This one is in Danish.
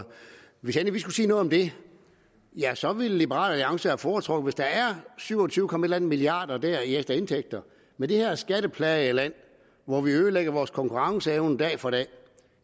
hvis vi endelig skulle sige noget om det ja så ville liberal alliance have foretrukket hvis der er syv og tyve komma et eller andet milliarder dér i ekstra indtægter med det her skatteplagede land hvor vi ødelægger vores konkurrenceevne dag for dag